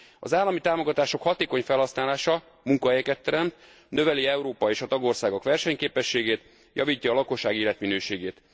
Az állami támogatások hatékony felhasználása munkahelyeket teremt, növeli Európa és a tagországok versenyképességét, javítja a lakosság életminőségét.